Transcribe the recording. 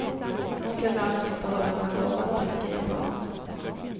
Han kunde alltså inte hålla vad han lovat, tänker japanerna.